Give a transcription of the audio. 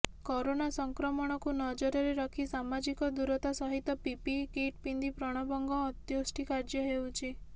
corona ସଂକ୍ରମଣକୁ ନଜରରେ ରଖି ସାମାଜିକ ଦୂରତା ସହିତ ପିପିଇ କିଟ୍ ପିନ୍ଧି ପ୍ରଣବଙ୍ଗ ଅନ୍ତ୍ୟେଷ୍ଟି କାର୍ଯ୍ୟ ହେଉଛି